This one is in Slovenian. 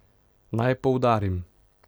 Naj poudarim.